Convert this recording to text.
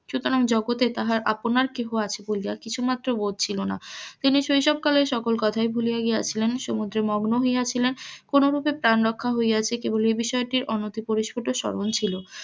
সুতরাং জগতে তাহার আপনার কেহ আজ বলিয়া কিছুমাত্র বোধ ছিলনা, তিনি শৈশব কালের সকল কথাই ভুলিয়া গিয়াছিলেন, সমুদ্রে মগ্ন হইয়াছিলেন, কোন রুপে প্রাণ রক্ষা হইয়াছে, এ বিষয়টির অনতি পরিস্ফুট শ্রবন ছিল,